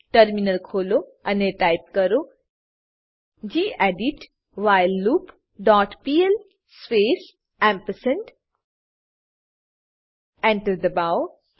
terminal ખોલો અને type કરો gedit while loop dot PL space ampersand Enter enter દબાવો